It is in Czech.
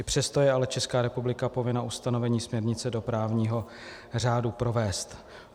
I přesto je ale Česká republika povinna ustanovení směrnice do právního řádu provést.